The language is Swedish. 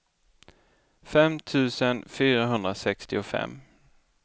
fem tusen fyrahundrasextiofem